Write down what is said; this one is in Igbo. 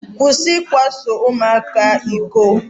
Kwụsị ikwaso ụmụaka iko.